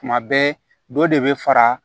Tuma bɛɛ dɔ de bɛ fara